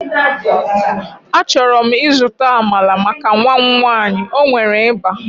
Achọrọ m ịzụta Amalar maka nwa m nwanyị, o nwere ịba